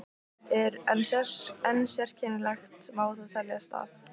En sérkennilegt má það teljast að